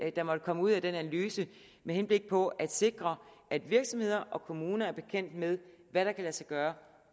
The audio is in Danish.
der måtte komme ud af den analyse med henblik på at sikre at virksomheder og kommuner er bekendt med hvad der kan lade sig gøre